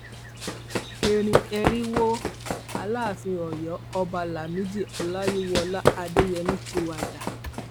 ẹrín ẹrín wo aláàfin ọyọ ọba lámìdí ọláyíwọlá adéyẹmi ti wájà